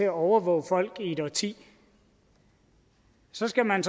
at overvåge folk i et årti så skal man